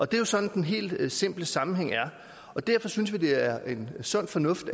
det er sådan den helt simple sammenhæng er og derfor synes vi det er sund fornuft